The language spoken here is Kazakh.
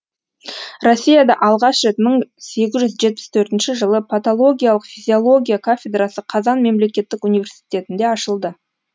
россияда алғаш рет мың сегіз жүз жетпіс төртінші жылы патологиялық физиология кафедрасы қазан мемлекеттік университетінде ашылды